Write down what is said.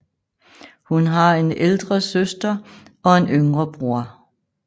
Hun har en ældre søster og en yngre broder